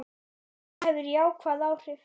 Það hefur jákvæð áhrif.